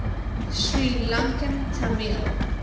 sri lankan tamil